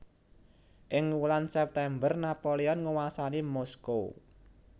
Ing wulan September Napoleon nguwasani Moskow